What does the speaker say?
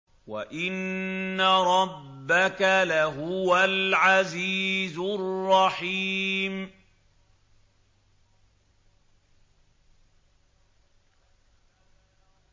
وَإِنَّ رَبَّكَ لَهُوَ الْعَزِيزُ الرَّحِيمُ